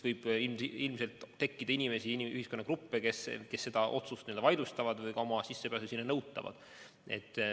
Ilmselt võib tekkida inimesi või ühiskonnagruppe, kes selle otsuse vaidlustavad ja ka sissepääsu nõuvad.